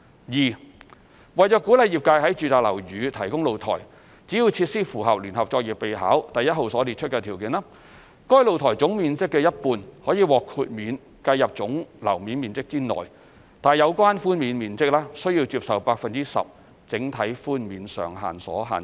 二為鼓勵業界在住宅樓宇提供露台，只要設施符合《聯合作業備考》第1號所列出的條件，該露台總面積的一半可獲豁免計入總樓面面積內，但有關寬免面積須受 10% 整體寬免上限所限。